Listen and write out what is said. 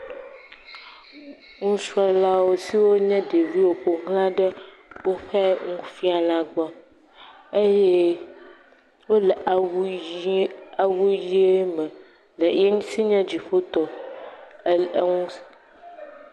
Ŋusrɔ lawo siwo nye ɖeviwo fo gla de ofe nufiala gbɔ, eye ole awu yi awu yie me, ye enti nye dziƒfo tɔ e ew…